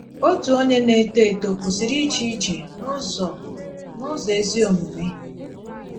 Otu onye na - etò eto kwụsìrì íje íje “ n’ụ̀zọ̀ n’ụ̀zọ̀ ezí omume. ”